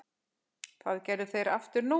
Það gerðu þeir aftur nú.